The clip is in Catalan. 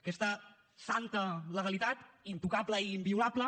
aquesta santa legalitat intocable i inviolable